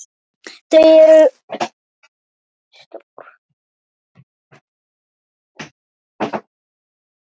Þau eru stór.